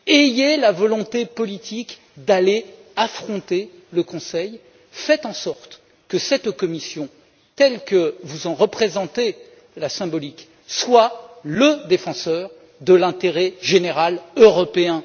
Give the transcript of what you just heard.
Ayez la volonté politique d'aller affronter le Conseil, faites en sorte que cette Commission, telle que vous en représentez la symbolique, soit le défenseur de l'intérêt général européen.